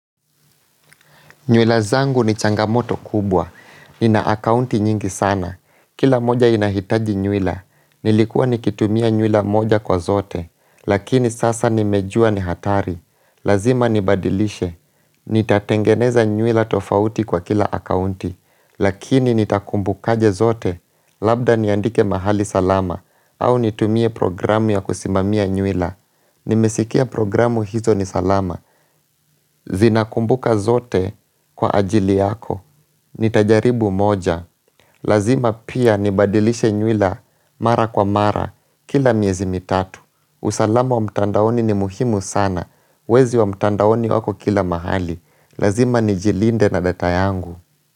Nywila zangu ni changamoto kubwa, nina akaunti nyingi sana, kila moja inahitaji nywila, nilikuwa nikitumia nywila moja kwa zote, lakini sasa nimejua ni hatari, lazima nibadilishe, nitatengeneza nywila tofauti kwa kila akaunti, lakini nitakumbukaje zote, labda niandike mahali salama, au nitumie programu ya kusimamia nywila. Nimesikia programu hizo ni salama Zinakumbuka zote kwa ajili yako Nitajaribu moja. Lazima pia nibadilishe nywila mara kwa mara kila miezi mitatu. Usalama wa mtandaoni ni muhimu sana. Wezi wa mtandaoni wako kila mahali. Lazima nijilinde na data yangu.